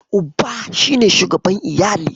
Uba shi ne shugaban iyali.